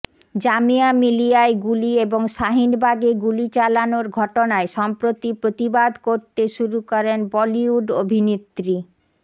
জামিয়া মিলিয়ায় গুলি এবং শাহিনবাগে গুলি চালানোর ঘটনায় সম্প্রতি প্রতিবাদ করতে শুরু করেন বলিউড অভিনেত্রী